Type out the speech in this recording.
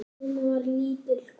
Hún var lítil kona.